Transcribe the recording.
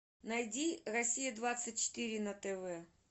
найди россия двадцать четыре на тв